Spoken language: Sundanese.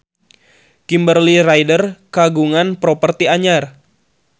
Kimberly Ryder kagungan properti anyar